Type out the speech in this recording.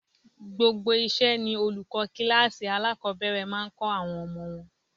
Gbogbo iṣẹ́ ni olùkọ́ kíláàsì alákọ̀ọ́bẹ̀rẹ̀ máa ń kọ àwọn ọmọ wọn.